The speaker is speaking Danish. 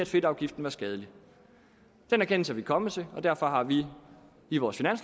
fedtafgiften var skadelig den erkendelse er vi kommet til og derfor har vi i vores